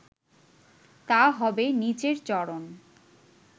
তা হবে নিচের চরণ